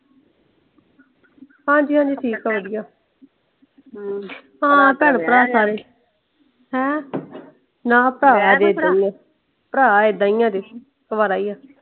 ਹਾਂਜੀ ਹਾਂਜੀ ਠੀਕ ਆ ਵਧੀਆ। ਹਾਂ ਭੈਣ ਭਰਾ ਸਾਰੇ। ਹੈਂ ਭਰਾ ਇਹਦਾ ਹੀ ਆ ਇਹਦਾ ਈ ਅਜੇ । ਕੁਵਾਰਾ ਹੀ ਆ।